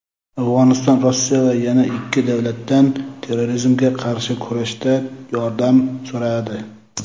Afg‘oniston Rossiya va yana ikki davlatdan terrorizmga qarshi kurashda yordam so‘radi.